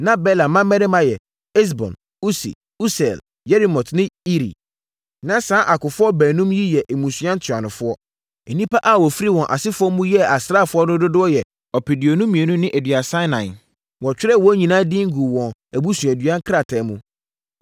Na Bela mmammarima yɛ: Esbon, Usi, Usiel, Yerimot ne Iri. Na saa akofoɔ baanum yi yɛ mmusua ntuanofoɔ. Nnipa a wɔfiri wɔn asefoɔ mu yɛɛ asraafoɔ no dodoɔ yɛ ɔpeduonu mmienu ne aduasa ɛnan (22,034). Wɔtwerɛɛ wɔn nyinaa din guu wɔn abusuadua krataa mu.